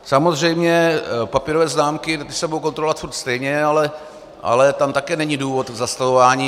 Samozřejmě papírové známky se budou kontrolovat pořád stejně, ale tam také není důvod k zastavování.